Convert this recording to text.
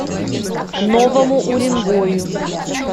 новому уренгою